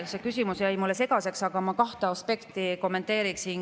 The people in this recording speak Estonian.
See küsimus jäi mulle natukene segaseks, aga ma kahte aspekti kommenteeriksin.